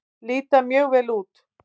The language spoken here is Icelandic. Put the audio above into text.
Líta mjög vel út.